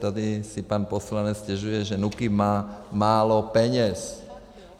Tady si pan poslanec stěžuje, že NÚKIB má málo peněz.